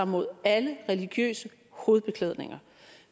mod alle religiøse hovedbeklædninger